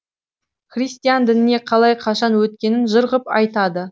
христиан дініне қалай қашан өткенін жыр ғып айтады